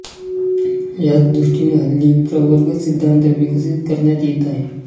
यांच दृष्टीने हल्ली प्रवर्ग सिद्धान्त विकसित करण्यात येत आहे